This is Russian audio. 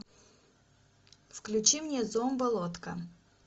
включи мне зомболодка